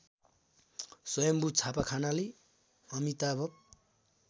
स्‍वयम्भू छापाखानाले अमिताभ